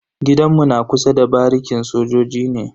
Gidan mu na kusa da barikin sojoji ne.